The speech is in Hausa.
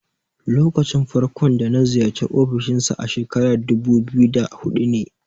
Lokacin farko da na ziyarci ofishin sa a shekarar dubu biyu da huɗu ne.